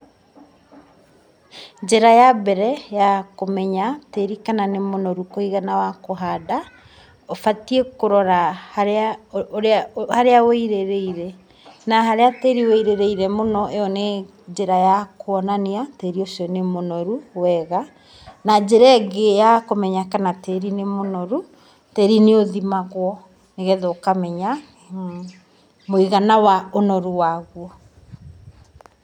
Njĩra ya mbere ya kũmenya tĩri kana nĩ mũnoru kũigana wa kũhanda ũbatiĩ kũrora haria ũrĩ haria ũirĩrĩire na haria tĩri wũirĩrĩire mũno ĩyo nĩ njĩra ya kũonania tĩri ũcio nĩ mũnoru wega. Na njĩra ĩngĩ ya kũmenya kana tĩri nĩ mũnoru tĩri nĩ ũthimagwo nĩgetha ũkamenya mũigana wa ũnoru waguo.